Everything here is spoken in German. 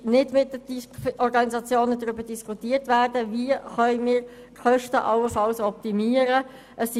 Es wurde mit den Organisationen nicht darüber diskutiert, wie die Kosten allenfalls optimiert werden könnten.